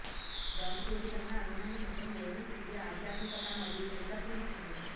దోషపూరితంగా అందమైన ముఖం దేవుని శిల్పి ఆధ్యాత్మికత మరియు సున్నితత్వం ఇచ్చింది